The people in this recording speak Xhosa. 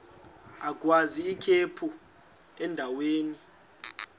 agwaz ikhephu endaweni